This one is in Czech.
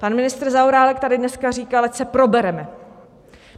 Pan ministr Zaorálek tady dneska říkal, ať se probereme.